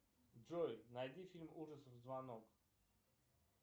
джой найди фильм ужасов звонок